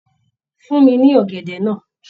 fún mi ní ọ̀gẹ̀dẹ̀ náà